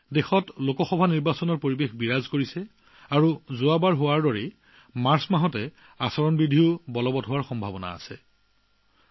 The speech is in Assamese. সমগ্ৰ দেশতে এতিয়া লোকসভা নিৰ্বাচনত পৰিবেশৰ সৃষ্টি হৈছে আৰু যোৱাবাৰৰ দৰে মাৰ্চ মাহত নিৰ্বাচনী অধিসূচনা জাৰি হোৱাৰ সম্ভাৱনা আছে